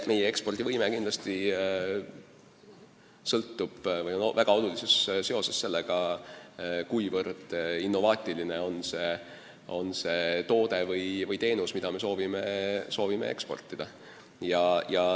Meie ekspordivõime on väga tugevas seoses sellega, kuivõrd innovaatiline on see toode või teenus, mida me soovime eksportida.